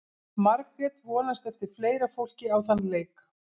Margrét vonast eftir fleira fólki á þann leik.